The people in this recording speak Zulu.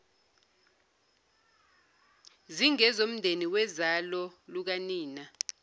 zingezomndeni wozalo lukanina